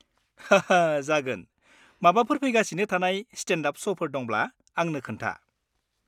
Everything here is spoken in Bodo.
हा हा जागोन! माबाफोर फैगासिनो थानाय स्टेन्ड-आप श'फोर दंब्ला आंनो खोन्था।